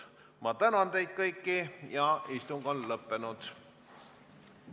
Ma tänan teid kõiki ja istung on lõppenud.